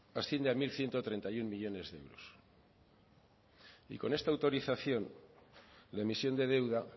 asciende a mil ciento treinta y uno millónes de euros y con esta autorización la emisión de deuda